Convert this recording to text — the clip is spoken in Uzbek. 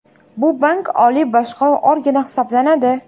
Bu bank oliy boshqaruv organi hisoblanadi.